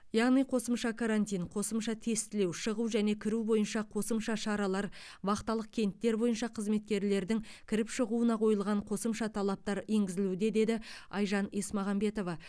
яғни қосымша карантин қосымша тестілеу шығу және кіру бойынша қосымша шаралар вахталық кенттер бойынша қызметкерлердің кіріп шығуына қойылған қосымша талаптар енгізілуде деді айжан есмағамбетова